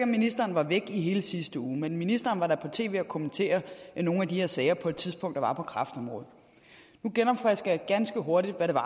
ministeren var væk i hele sidste uge men ministeren var da på tv kommentere nogle af de her sager der på et tidspunkt var på kræftområdet nu genopfrisker jeg ganske hurtigt hvad det var